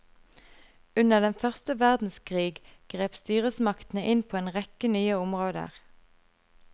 Under den første verdenskrig grep styresmaktene inn på en rekke nye områder.